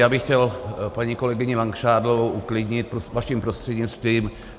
Já bych chtěl paní kolegyni Langšádlovou uklidnit vaším prostřednictvím.